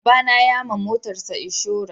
Baba na ya ma motarsa inshora